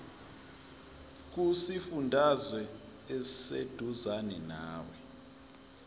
kusifundazwe oseduzane nawe